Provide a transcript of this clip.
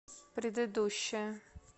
предыдущая